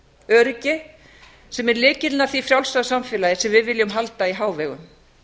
öryggi sem er lykillinn að því frjálsa samfélagi sem við viljum halda í hávegum